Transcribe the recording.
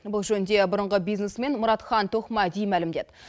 бұл жөнінде бұрынғы бизнесмен мұратхан тоқмәди мәлімдеді